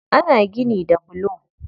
Ana gini da bulo